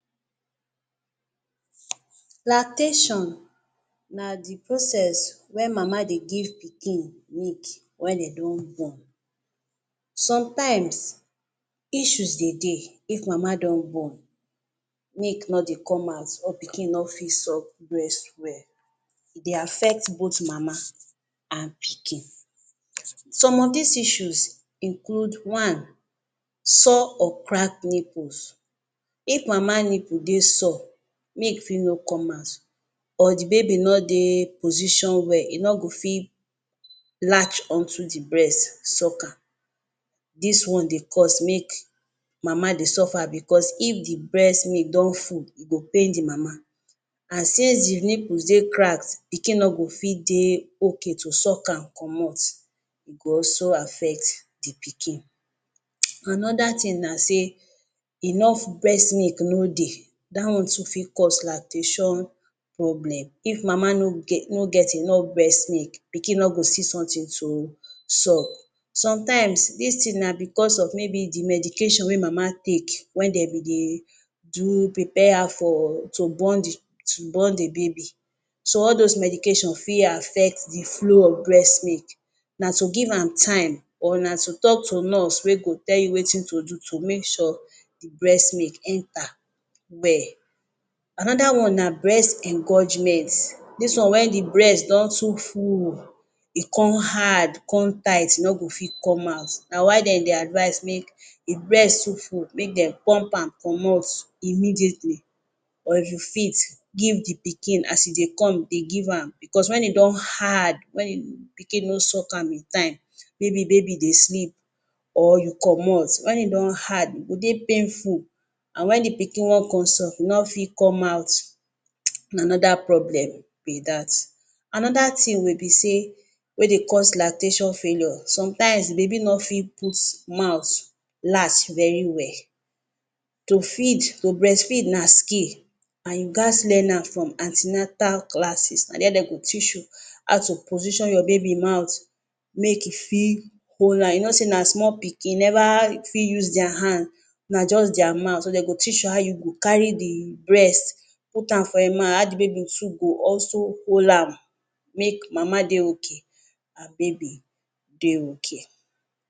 Lactation na the process wen mama dey give pikin milk wen de don born. Sometimes, issues de dey if mama don born. Milk no dey come out or pikin no fit suck breast well. E dey affect both mama an pikin. Some of dis issues include one: sore or crack nipples. If mama nipple dey sour, milk fit no come out or the baby no dey position well, e no go fit latch on to the breast, suck am. Dis one dey cause make mama dey suffer becos if the breast milk don full, e go pain the mama. An since the nipples dey cracked, pikin no go fit dey okay to suck am comot. E go affect the pikin. Another tin na sey enough breast milk no dey. Dat one too fit cause lactation problem. If mama no get no get enough breast milk, pikin no go see something to suck. Sometimes, dis tin na becos of maybe the medication wey mama take wen de be dey do prepare her for to born the to born the baby. So, all dos medication fit affect the flow of breast milk. Na to give am time or na to talk to nurse wey go tell you wetin to do to make sure breast milk enter well. Another one na breast engorgement. Dis one wen the breast don too full, e con hard, con tight, e no go fit come out. Na why de dey advise make if breast too full, make dem pump am comot immediately or you fit give the pikin. As e dey come, dey give am becos wen e don hard, wen pikin no suck am in time, maybe baby dey sleep, or you comot. Wen e don hard, e go dey painful an wen the pikin wan con suck, e no fit come out. Na another problem be dat. Another tin wey be sey wey dey cause lactation failure. Sometimes, the baby no fit put mouth last very well. To feed, to breastfeed na skill an you gaz learn am from an ten atal classes. Na there de go teach you how to position your baby mouth make e fit am. You know sey na small pikin, e neva fit use dia hand, na juz dia mouth so de go teach you how you go carry the breast, put am for ein mouth, how the baby too go also hold am make mama dey okay an baby dey okay.